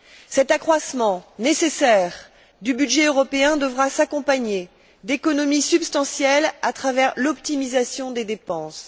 Cet accroissement nécessaire du budget européen devra s'accompagner d'économies substantielles à travers l'optimisation des dépenses.